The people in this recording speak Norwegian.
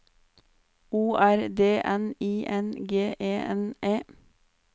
O R D N I N G E N E